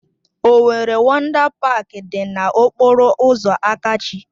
Owerri Wọndá Páák dị na okpọrọ ụzọ Akachi